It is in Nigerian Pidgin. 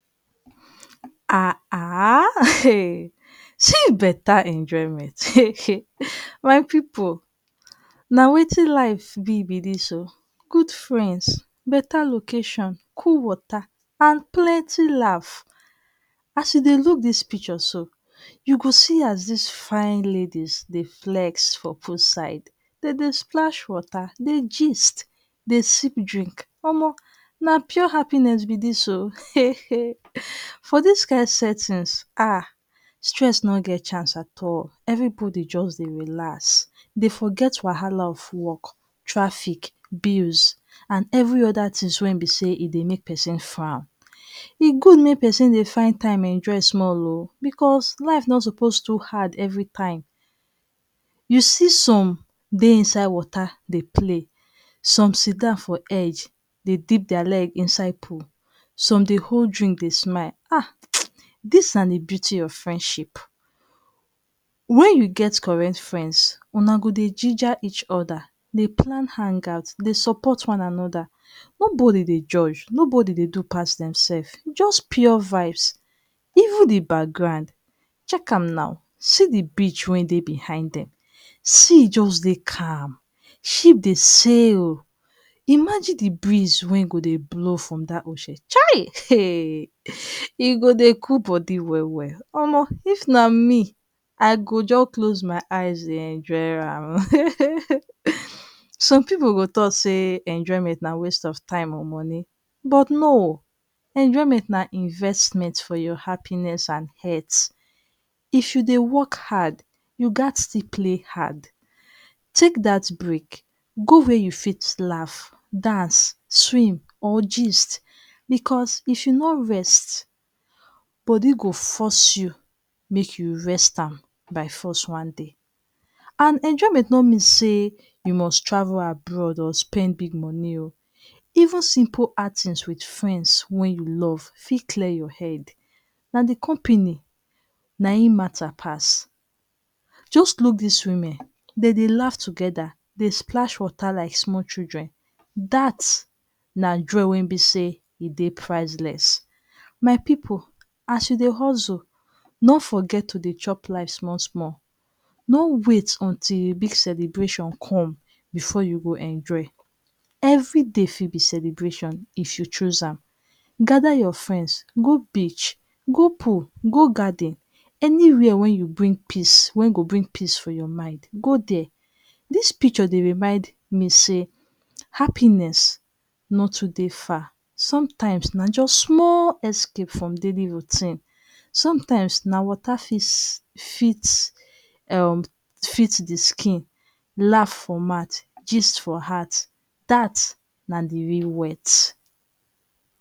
Haha um see better enjoyment um. My pipu na wetin life be be dis oh. Good friends, better location, cool water and plienty laugh. As you dey look dis picture so, you go see as dis fine ladies dey flex for pool side. De dey splash water, dey gist, dey sip drink. Omo, na pure happiness be dis oh. um For dis kind settings ha! stress no get chance at all. Everybody just dey relax, dey forget wahala of work, traffic, bills and every other things wey e be sey e dey make person. E good make pesin dey find time rest small oh because life no suppose too hard everytime. You see some dey inside water dey play, some sit down hedge dey dip their leg inside pool, some dey hold drink dey smile ha! um, dis na the beauty of friendship. When you get correct friends, huna go dey ginger each other, dey plan hangout, dey support one another. Nobody dey judge, nobody dey do pass demself. Just pure vibes. Even the background, check am now. See the beach wey dey beside dem. Sea just dey calm, ship dey sail. Imagine the breeze wey go dey blow from dat ocean, chai! um. E go dey cool body well well. Omo, If na me, I go just close my eyes dey enjoy am um um um. Some pipu go talk sey enjoyment na waste of time or money, but No. enjoyment na investment for your happiness and health. If you dey work hard, you gat still play hard. Take dat break, go where you fit laugh, dance, swim or gist because if you no rest, body go force you make you rest am by force one day. And enjoyment no mean sey, you must travel abroad or spend big money oh. Even simple outings with friends wey you love fit clear your head. Na the company, na im matter pass. Just look des women, de dey laugh together, dey splash water like small children. Dat's na joy wey e be sey e dey priceless. My pipu as you dey hustle, no forget to dey chop life small small. No wait until big celebration come before you go enjoy. Everyday fit be celebration if you choose am. Gather your friends go beach, go pool, go garden. Anywhere wey you bring peace wey go bring peace for your mind, go dere. Dis picture dey remind me sey, happiness no too dey far. Sometimes, na just small escape from daily routine. Sometimes na water fit fit um fit the skin. Laugh for mouth, gist form hearth, dat's na the real words